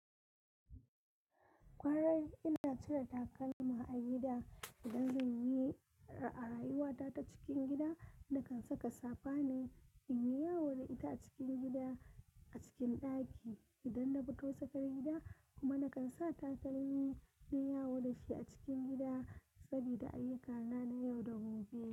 Kwarai, ina cire takalma a gida idan zan yi ra'ayuwata ta cikin gida. Nakan saka safa ne in yi yawo da ita a cikin gida, a cikin ɗaki idan na fito sakar gida kuma nakan sa takalmi na yi yawo da shi a cikin gida saboda ayyukana na yau da gobe.